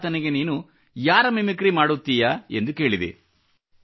ಅದಕ್ಕೆ ಆತನಿಗೆ ನೀನು ಯಾರ ಮಿಮಿಕ್ರಿ ಮಾಡುತ್ತೀಯ ಎಂದು ಕೇಳಿದೆ